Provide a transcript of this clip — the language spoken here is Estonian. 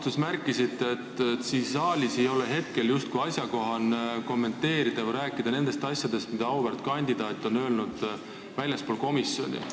Te märkisite oma vastustes, et siin saalis ei ole justkui asjakohane kommenteerida või rääkida nendest asjadest, mida auväärt kandidaat on öelnud väljaspool komisjoni.